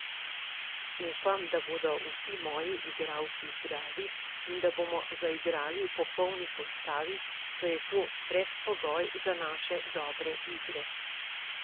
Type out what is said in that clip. Upam, da bodo vsi moji igralci zdravi in, da bomo zaigrali v popolni postavi, saj je to predpogoj za naše dobre igre.